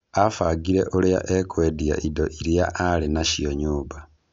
Abangire ũrĩa ekwendia indo iria arĩ nacio nyũmba.